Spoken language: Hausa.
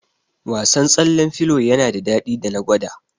Wasan tsallen filo yana da daɗi da na gwada